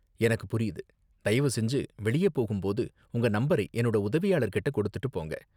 எனக்கு புரியுது. தயவு செஞ்சு வெளியே போகும் போது உங்க நம்பரை என்னோட உதவியாளர் கிட்ட கொடுத்துட்டு போங்க.